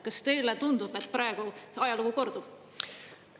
Kas teile tundub, et praegu ajalugu kordub?